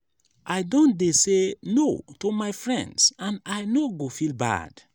i don dey say no to my friends and i no go feel bad.